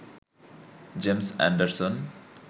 James Anderson